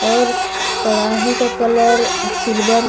और कड़ाही का कलर सिल्वर --